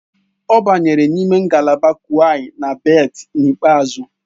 Ọ banyere n'ime ngalaba kuays na berth n'ikpeazụ